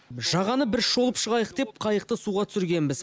жағаны бір шолып шығайық деп қайықты суға түсіргенбіз